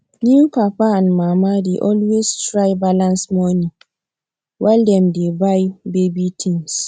new papa and mama dey always try balance money while dem dey buy baby things